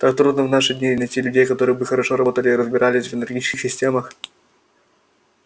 так трудно в наши дни найти людей которые бы хорошо работали и разбирались в энергетических системах